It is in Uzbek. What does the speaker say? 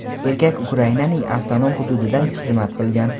erkak Ukrainaning avtonom hududida xizmat qilgan.